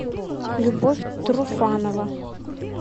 любовь труфанова